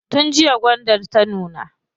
Tun jiya gwandar ta nuna.